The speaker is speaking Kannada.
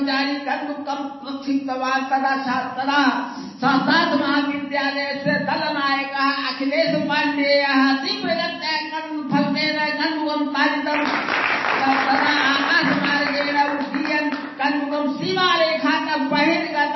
sound clip cricket commentary no need to transcribe the byte